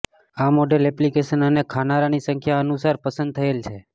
આ model application અને ખાનારાની સંખ્યા અનુસાર પસંદ થયેલ છે